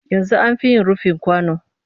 Yanzu an fi yin rufi kwano